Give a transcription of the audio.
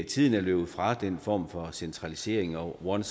tiden er løbet fra den form for centralisering og one